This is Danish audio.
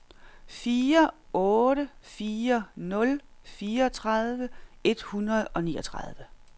fire otte fire nul fireogtredive et hundrede og niogtredive